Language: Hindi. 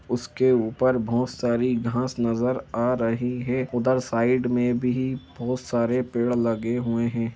उसके ऊपर बहुत सारी घास नजर आ रही है उधर साइड में भी बहुत सारे पेड़ लगे हुए हैं।